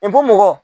I ko mɔgɔ